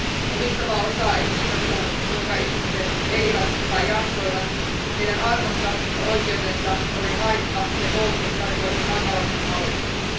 Omistavaa osaa ei kiinnostanut, kuinka ihmiset elivät tai jaksoivat, heidän arvonsa ja oikeutensa olivat haitta ja koulutus tarkoitti hankalasti hallittavia.